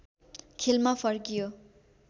खेलमा फर्कियो